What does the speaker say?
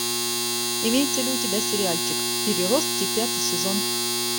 имеется ли у тебя сериальчик переростки пятый сезон